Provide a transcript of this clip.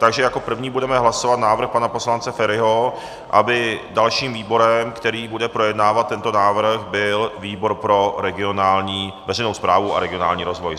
Takže jako první budeme hlasovat návrh pana poslance Feriho, aby dalším výborem, který bude projednávat tento návrh, byl výbor pro veřejnou správu a regionální rozvoj.